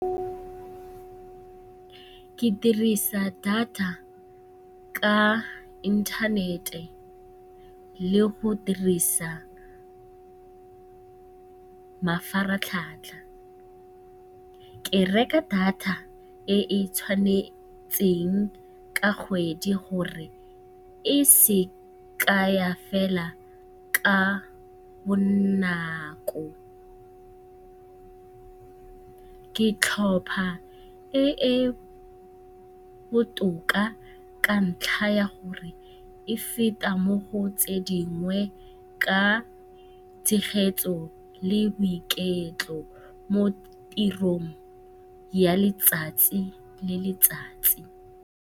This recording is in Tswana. Ke dirisa data ka inthanete le go dirisa mafaratlhatlha. Ke reka data e e tshwanetseng ka kgwedi gore e se ke ya fela ka bonako. Ke tlhopha e e botoka ka ntlha ya gore e feta mo go tse dingwe ka tshegetso le boiketlo mo tirong ya letsatsi le letsatsi.